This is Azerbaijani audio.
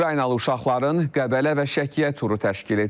Ukraynalı uşaqların Qəbələ və Şəkiyə turu təşkil edilib.